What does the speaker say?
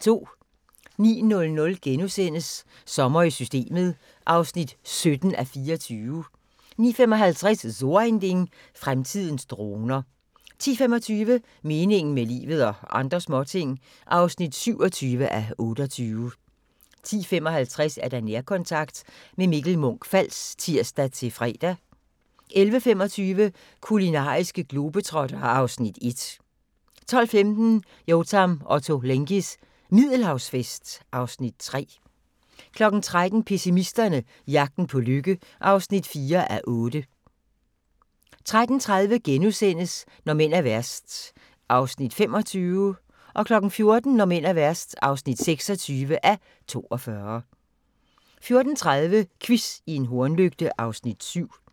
09:00: Sommer i Systemet (17:24)* 09:55: So ein Ding: Fremtidens droner 10:25: Meningen med livet – og andre småting (27:28) 10:55: Nærkontakt – med Mikkel Munch-Fals (tir-fre) 11:25: Kulinariske globetrottere (Afs. 1) 12:15: Yotam Ottolenghis Middelhavsfest (Afs. 3) 13:00: Pessimisterne - jagten på lykke (4:8) 13:30: Når mænd er værst (25:42)* 14:00: Når mænd er værst (26:42) 14:30: Quiz i en hornlygte (Afs. 7)